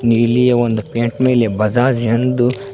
ನೀಲಿಯ ಒಂದು ಪೈಂಟ್ ಮೇಲೆ ಬಜಾಜ್ ಎಂದು.